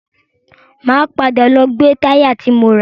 Máa padà lọ gbe táyà ti mo rà.